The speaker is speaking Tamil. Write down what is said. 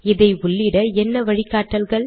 இதை உள்ளிட என்ன வழிகாட்டல்கள்